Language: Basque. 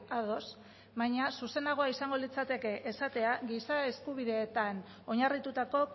ados baina zuzenagoa izango litzateke esatea giza eskubideetan oinarritutako